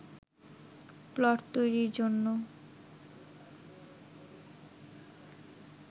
plot তৈরির জন্য